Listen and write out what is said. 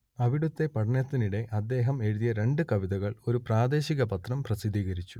അവിടത്തെ പഠനത്തിനിടെ അദ്ദേഹം എഴുതിയ രണ്ടു കവിതകൾ ഒരു പ്രാദേശിക പത്രം പ്രസിദ്ധീകരിച്ചു